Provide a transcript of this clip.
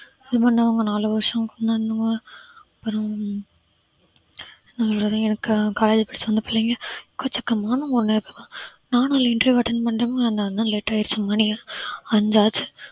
நாலு வருஷம் அப்பறம் college படிச்சி வந்த பிள்ளைங்க நானும் interview attend பண்றோமா அதனாலதான் late ஆயிருச்சு மணி அஞ்சு ஆச்சு